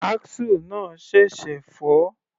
Axle náà ṣẹ̀ṣẹ̀ fọ́.